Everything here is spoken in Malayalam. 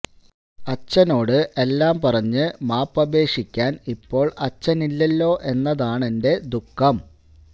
അച്ഛനോട് എല്ലാം പറഞ്ഞ് മാപ്പ് അപേക്ഷിക്കാന് ഇപ്പോള് അച്ഛനില്ലല്ലോ എന്നതാണെന്റെ ദുഃഖം